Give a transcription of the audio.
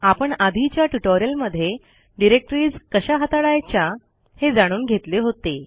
आपण आधीच्या ट्युटोरियलमध्ये डिरेक्टरीज कशा हाताळायच्या हे जाणून घेतले होते